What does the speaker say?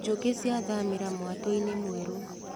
Njũkĩ ciathamĩra mwatũinĩ mwerũ.